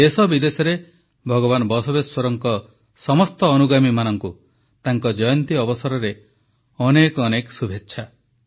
ଦେଶ ବିଦେଶରେ ଭଗବାନ ବସବେଶ୍ୱରଙ୍କ ସମସ୍ତ ଅନୁଗାମୀମାନଙ୍କୁ ତାଙ୍କ ଜୟନ୍ତୀ ଅବସରରେ ଅନେକ ଅନେକ ଶୁଭେଚ୍ଛା